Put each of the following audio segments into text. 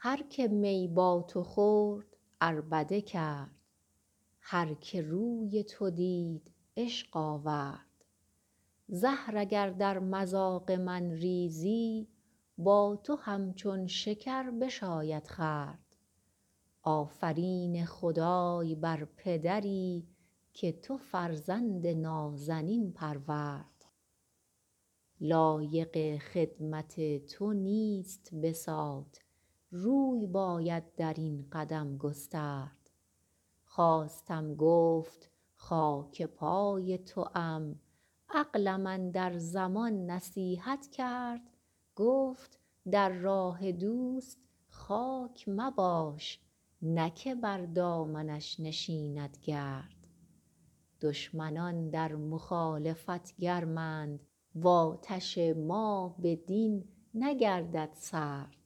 هر که می با تو خورد عربده کرد هر که روی تو دید عشق آورد زهر اگر در مذاق من ریزی با تو همچون شکر بشاید خورد آفرین خدای بر پدری که تو فرزند نازنین پرورد لایق خدمت تو نیست بساط روی باید در این قدم گسترد خواستم گفت خاک پای توام عقلم اندر زمان نصیحت کرد گفت در راه دوست خاک مباش نه که بر دامنش نشیند گرد دشمنان در مخالفت گرمند و آتش ما بدین نگردد سرد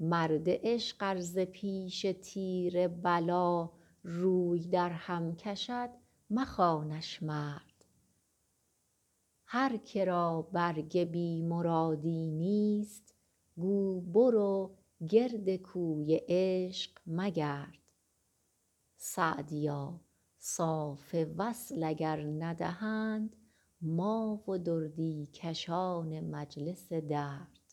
مرد عشق ار ز پیش تیر بلا روی درهم کشد مخوانش مرد هر که را برگ بی مرادی نیست گو برو گرد کوی عشق مگرد سعدیا صاف وصل اگر ندهند ما و دردی کشان مجلس درد